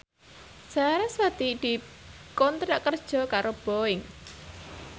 sarasvati dikontrak kerja karo Boeing